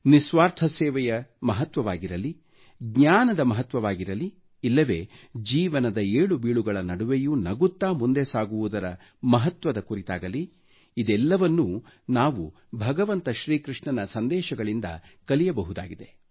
ನಿಸ್ವಾರ್ಥ ಸೇವೆಯ ಮಹತ್ವವಾಗಿರಲಿ ಜ್ಞಾನದ ಮಹತ್ವವಾಗಿರಲಿ ಇಲ್ಲವೇ ಜೀವನ ಏಳು ಬೀಳುಗಳ ನಡುವೆಯೂ ನಗುತ್ತಾ ಮುಂದೆ ಸಾಗುವುದರ ಮಹತ್ವದ ಕುರಿತಾಗಲಿ ಇದೆಲ್ಲವನ್ನು ನಾವು ಭಗವಂತ ಶ್ರೀ ಕೃಷ್ಣನ ಸಂದೇಶಗಳಿಂದ ಕಲಿಯಬಹುದಾಗಿದೆ